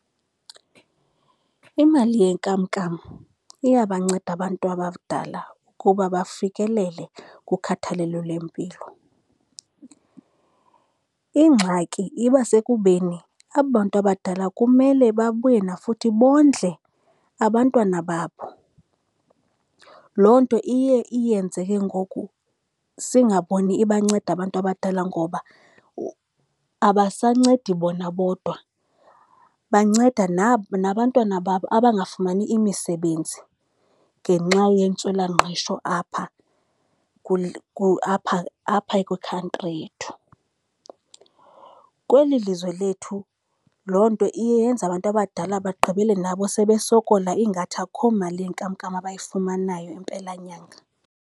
Imali yenkamnkam iyabanceda abantu abadala ukuba bafikelele kukhathalelo lwempilo. Ingxaki iba sekubeni aba bantu abadala kumele babuye nafuthi bondle abantwana babo. Loo nto iye iyenze ke ngoku singaboni ibanceda abantu abadala ngoba abasancedi bona bodwa, banceda nabantwana babo abangafumani imisebenzi ngenxa yentswelangqesho apha apha apha kwi-country yethu. Kweli lizwe lethu loo nto iye yenze abantu abadala bagqibele nabo sebesokola, ingathi akho mali yenkamnkam abayifumanayo empelanyanga.